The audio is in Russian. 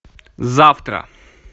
завтра